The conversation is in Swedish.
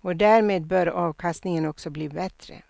och därmed bör avkastningen också bli bättre.